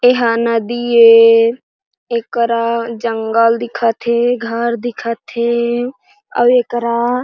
यहाँ नदी है ये करा जंगल दिखत है घर दिखत है और ये करा.--